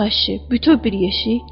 Yox, əşi, bütöv bir yeşik.